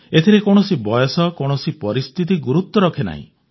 ଏଥିରେ କୌଣସି ବୟସ କୌଣସି ପରିସ୍ଥିତି ଗୁରୁତ୍ୱ ରଖେ ନାହିଁ